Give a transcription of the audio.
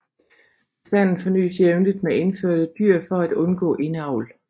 Bestanden fornyes jævnligt med indførte dyr for at undgå indavl